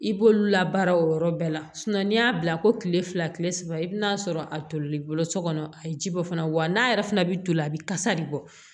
I b'olu la baara o yɔrɔ bɛɛ la n'i y'a bila ko kile fila kile saba i bi n'a sɔrɔ a toli bolo so kɔnɔ a ye ji bɔ fana wa n'a yɛrɛ fana bi toli a bɛ kasa de bɔ